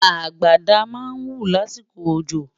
àgbàdá má ń wú lásìkò ọjọ